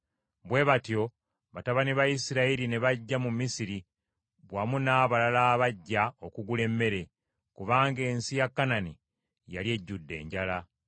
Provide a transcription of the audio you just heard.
Bwe batyo batabani ba Isirayiri ne bajja mu Misiri wamu n’abalala abajja okugula emmere, kubanga ensi ya Kanani yali ejjudde enjala.